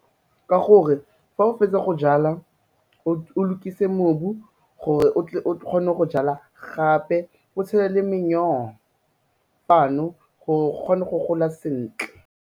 Ka gore fa o fetsa go jala o lokise mobu gore o tle o kgone go jala gape o tshele le manure fa no gore go kgone go gola sentle.